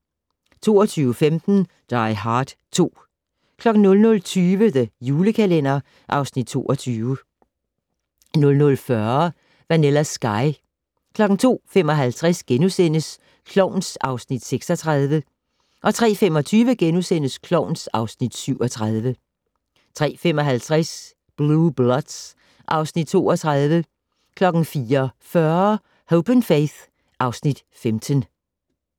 22:15: Die Hard 2 00:20: The Julekalender (Afs. 22) 00:40: Vanilla Sky 02:55: Klovn (Afs. 36)* 03:25: Klovn (Afs. 37)* 03:55: Blue Bloods (Afs. 32) 04:40: Hope & Faith (Afs. 15)